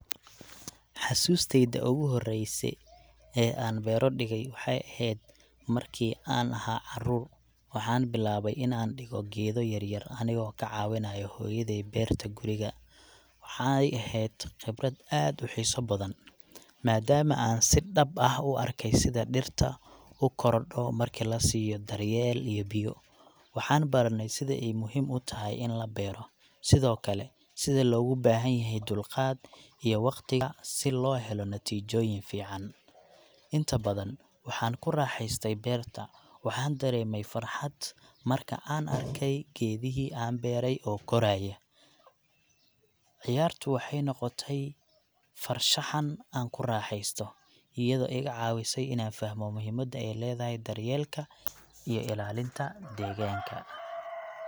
Xusuustayda ugu horreyse ee aan beero dhigay waxay ahayd markii aan ahaa carruur. Waxaan bilaabay in aan dhigo geedo yar yar anigoo ka caawinaayo hooyaday beerta guriga. Waxay eheed khibrad aad u xiiso badan, maadaama aan si dhab ah u arkay sida dhirta u korodho markii la siiyo daryeel iyo biyo. Waxaan baranay sida ay muhiim u tahay in la beero, sidoo kale sida loogu baahan yahay dulqaad iyo waqtiga si loo helo natiijooyin fiican. Inta badan, waxaan ku raaxaystay beerta, waxaan dareemay farxad marka aan arkay geedihii aan beertay oo koraya. Ciyaartu waxay noqotay farshaxan aan ku raaxeysto, iyadoo iga caawisay inaan fahmo muhiimadda ay leedahay daryeelka iyo ilaalinta deegaanka.